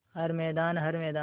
हर मैदान हर मैदान